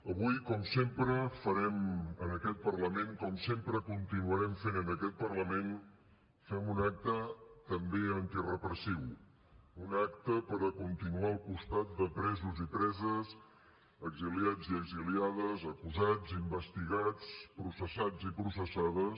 avui com sempre farem en aquest parlament com sempre continuarem fent en aquest parlament un acte també antirepressiu un acte per a continuar al costat de presos i preses exiliats i exiliades acusats investigats processats i processades